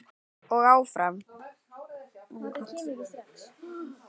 Og áfram.